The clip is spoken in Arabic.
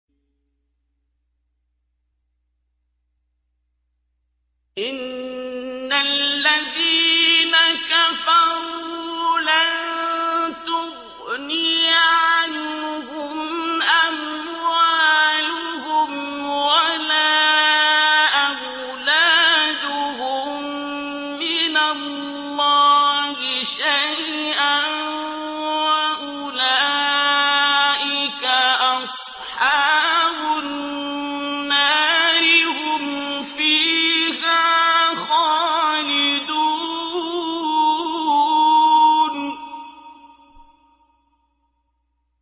إِنَّ الَّذِينَ كَفَرُوا لَن تُغْنِيَ عَنْهُمْ أَمْوَالُهُمْ وَلَا أَوْلَادُهُم مِّنَ اللَّهِ شَيْئًا ۖ وَأُولَٰئِكَ أَصْحَابُ النَّارِ ۚ هُمْ فِيهَا خَالِدُونَ